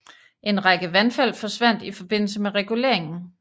En række vandfald forsvandt i forbindelse med reguleringen